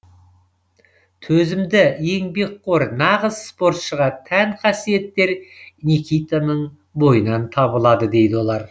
төзімді еңбекқор нағыз спортшыға тән қасиеттер никитаның бойынан табылады дейді олар